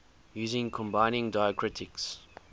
using combining diacritics